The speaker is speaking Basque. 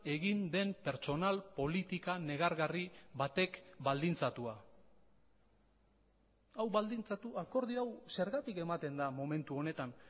egin den pertsonal politika negargarri batek baldintzatua hau baldintzatu akordio hau zergatik ematen da momentu honetan